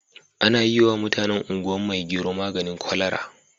Ana yiwa mutanen Ungwan maigero maganin kwalara.